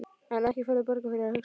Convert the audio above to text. En ekki færðu borgað fyrir að hugsa?